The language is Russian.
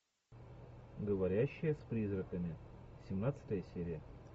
говорящая с призраками семнадцатая серия